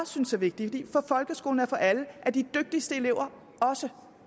synes er vigtigt for folkeskolen er for alle at de dygtigste elever også